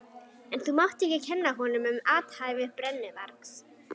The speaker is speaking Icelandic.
En þú mátt ekki kenna honum um athæfi brennuvargs.